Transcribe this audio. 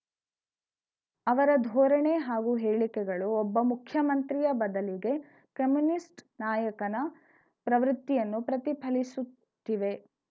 ಅವರ ಧೋರಣೆ ಹಾಗೂ ಹೇಳಿಕೆಗಳು ಒಬ್ಬ ಮುಖ್ಯಮಂತ್ರಿಯ ಬದಲಿಗೆ ಕಮ್ಯುನಿಸ್ಟ್‌ ನಾಯಕನ ಪ್ರವೃತ್ತಿಯನ್ನು ಪ್ರತಿಫಲಿಸುತ್ತಿವೆ